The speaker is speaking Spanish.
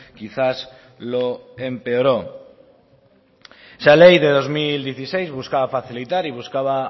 quizás lo empeoró esa ley de dos mil dieciséis buscaba facilitar y buscaba